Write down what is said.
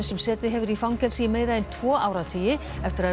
sem setið hefur í fangelsi í meira en tvo áratugi eftir að